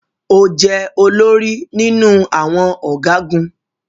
O jẹ olórí nínú awọn ọgagun